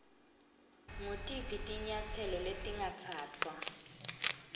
ngutiphi tinyatselo letingatsatfwa